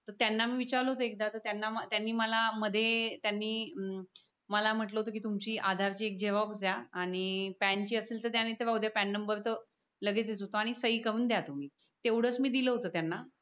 त्यांना मी विचारल होत एखदा त्यांनी मला मध्ये त्यांनी मला म्हटल होत कि तुमची अधारची एक झेरोक्स दया आणि प्यान ची असेल ध्या नाही राहू दया प्यान नंबर त लगेच देत होतो आणि सही करून दया तुम्ही, तेवढच मी दिल होत त्यांना